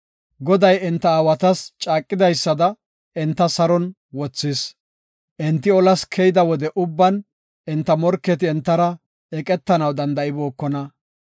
Goday enta aawatas caaqidaysada, enta saron wothis. Enti olas keyida wode ubban enta morketi entara eqetanaw danda7ibookona.